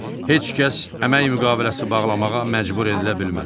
Heç kəs əmək müqaviləsi bağlamağa məcbur edilə bilməz.